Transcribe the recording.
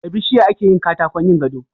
Da bishiya akeyin katakon yin gado